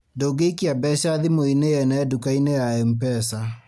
Ndũngĩikia mbeca thimũ-inĩ yene nduka -inĩ ya MPESA